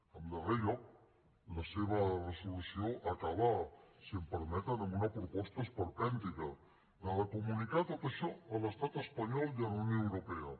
en darrer lloc la seva resolució acaba si em permeten amb una proposta esperpèntica la de comunicar tot això a l’estat espanyol i a la unió europea